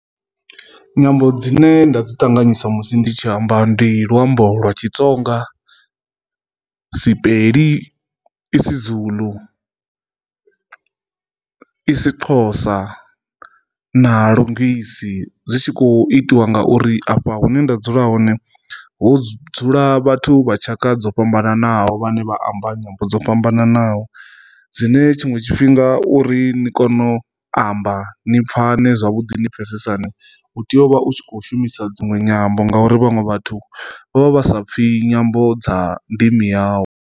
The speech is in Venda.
Nyambo dzine nda dzi ṱanganyisa musi ndi tshi amba ndi luambo lwa Xitsonga, Sipedi, isiZulu, isiXhosa na lungesi. Zwi tshi kho itiwa ngauri afha hune nda dzula hone hu dzula vhathu vha tshaka dzo fhambananaho vhane vha amba nyambo dzo fhambananaho, zwine tshiṅwe tshifhinga uri ni kono amba ni pfhane zwavhuḓi ni pfhesesane u tea u vha u tshi kho shumisa dziṅwe nyambo ngauri vhaṅwe vhathu vha vha vha sa pfi nyambo dza ndimi yau.